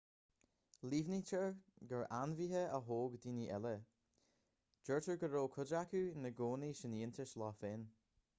líomhnaítear gur ainmhithe a thóg daoine eile deirtear go raibh cuid acu ina gcónaí san fhiántas leo féin